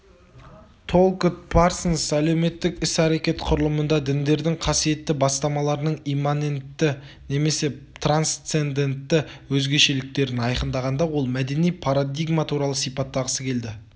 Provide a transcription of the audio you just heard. толкотт парсонс әлеуметтік іс-әрекет құрылымында діндердің қасиетті бастамаларының имманентті немесе трансцендентті өзгешеліктерін айқындағанда ол мәдени парадигма туралы сипаттағысы келді